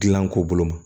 Gilan ko bolo ma